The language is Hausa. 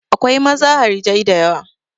Akwai maza harajai da yawa.